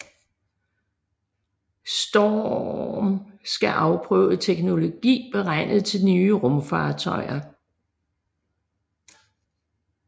STORRM skal afprøve teknologi beregnet til nye rumfartøjer